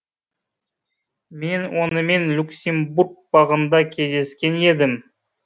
мен онымен люксембург бағында кездескен едім